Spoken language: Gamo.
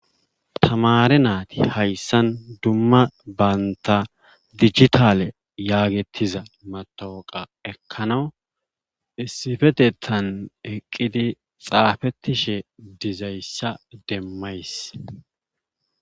Tamaare nayti hayssan dumma bantta dijitaale yaagettiza mattawoqa ekkanaw issifetettan eqqidi xaafettishe dizayssa demmzays.